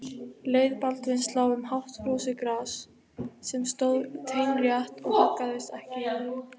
Leið Baldvins lá um hátt frosið gras sem stóð teinrétt og haggaðist ekki í logninu.